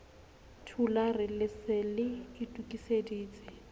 thulare le se le itokiseditse